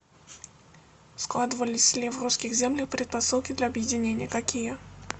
складывались ли в русских землях предпосылки для объединения какие